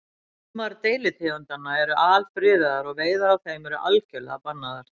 Sumar deilitegundanna eru alfriðaðar og veiðar á þeim eru algjörlega bannaðar.